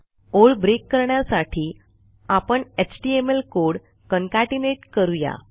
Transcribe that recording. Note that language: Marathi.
ओळ ब्रेक करण्यासाठी आपण एचटीएमएल कोड कॉन्केटनेट करू या